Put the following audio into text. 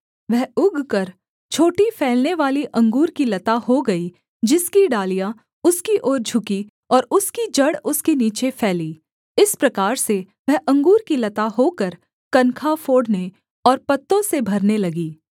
वह उगकर छोटी फैलनेवाली अंगूर की लता हो गई जिसकी डालियाँ उसकी ओर झुकी और उसकी जड़ उसके नीचे फैली इस प्रकार से वह अंगूर की लता होकर कनखा फोड़ने और पत्तों से भरने लगी